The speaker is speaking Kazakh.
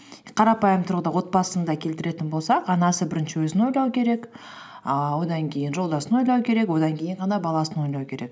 қарапайым тұрғыда отбасында келтіретін болсақ анасы бірінші өзін ойлау керек ііі одан кейін жолдасын ойлау керек одан кейін ғана баласын ойлау керек